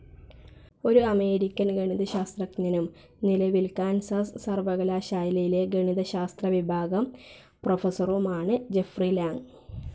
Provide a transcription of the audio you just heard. ഒരു അമേരിക്കൻ ഗണിതശാസ്ത്രജ്ഞനും നിലവിൽ കാൻസാസ് സർ‌വ്വകലാശാലയിലെ ഗണിതശാസ്ത്രവിഭാഗം പ്രൊഫസ്സറുമാണ്‌ ജെഫ്രി ലാങ്.